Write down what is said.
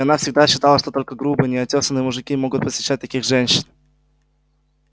и она всегда считала что только грубые неотёсанные мужики могут посещать таких женщин